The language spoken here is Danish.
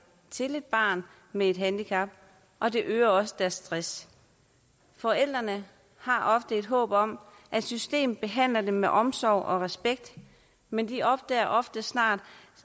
til et barn med et handicap og det øger også deres stress forældrene har et håb om at systemet behandler dem med omsorg og respekt men de opdager ofte snart